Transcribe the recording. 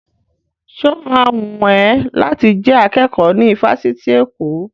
Sọ ma wùn ẹ́ láti jẹ́ akẹ́kọ̀ọ́ ní ifásitì Èkó?